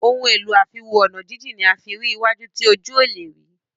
Ohun èlò àfiwo-ọ̀nàjíjìn ní a fín rí iwájú tí ojú ọ lẹ rí.